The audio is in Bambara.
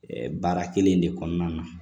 baara kelen de kɔnɔna na